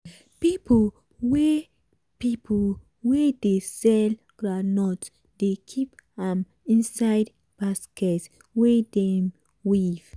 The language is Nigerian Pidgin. people wey people wey dey sell groundnut dey keep am inside basket wey dem weave.